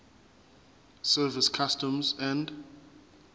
service customs and